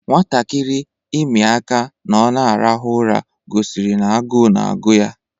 Nwatakịrị imi aka ná ọ n'arahu ụra gosiri n'agu na-agụ ya